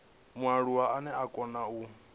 mualuwa ane a kona u